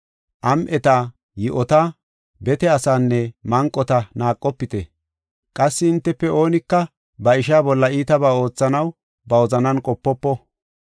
Am7eta, yi7ota, bete asaanne manqota naaqofite. Qassi hintefe oonika ba ishaa bolla iitabaa oothanaw ba wozanan qopofo.’